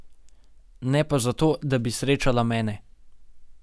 Ne pa zato, da bi srečala mene.